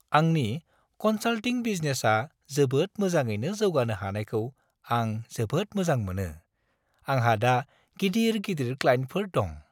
आंनि कन्सालटिं बिजनेसआ जोबोद मोजाङैनो जौगानो हानायखौ आं जोबोद मोजां मोनो, आंहा दा गिदिर-गिदिर क्लाइन्टफोर दं।